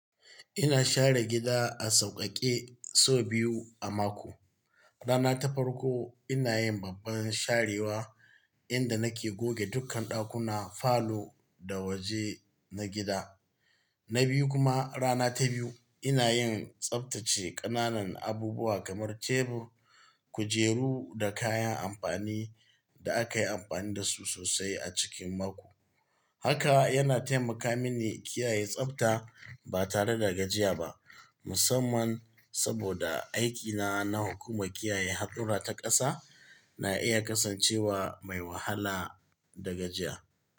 Ina share gida a sauƙaƙe sau biyu a mako. Rana ta farko ina yin babban sharewa inda nake goge dukkan ɗakuna, falo da waje na gida. Na biyu kuma, rana ta biyu ina yin tsabtace ƙananan abubuwa kamar tebur, kujeru da kayan amfani, da aka yi amfani da su sosai a cikin mako. Haka yana taimaka mini kiyaye tsabta ba tare da gajiya ba, musamman saboda aikina na hukumar kiyaye haɗɗura ta ƙasa na iya kasancewa mai wahala da gajiya.